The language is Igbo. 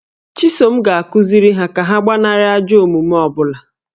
Chisom ga-akụziri ha ka ha gbanarị ajọ omume ọ bụla